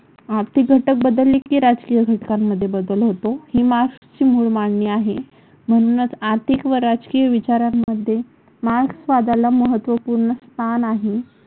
आर्थिक घटक बदलले की राजकीय घटकांमध्ये बदल होतो. हे मार्क्सची मूळ मांडणी आहे. म्हणूनच आर्थिक व राजकीय विचारांमध्ये मार्क्सवादाला महत्त्वपूर्ण स्थान आहे.